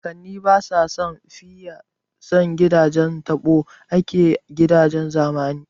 Kakannin baya sun fiye son gidajen taɓo akan gidajen zamani